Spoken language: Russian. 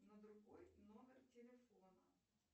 на другой номер телефона